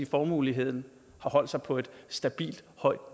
formueuligheden har holdt sig på et stabilt højt